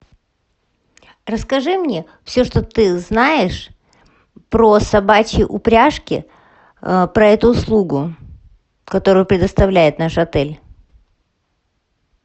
расскажи мне все что ты знаешь про собачьи упряжки про эту услугу которую предоставляет наш отель